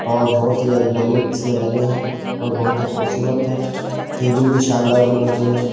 और बहुत ही ज्यादा बैलून इसमें लगे हैं और बहुत ही खूबसूरत है केबिन भी शानदार बने हुए हैं।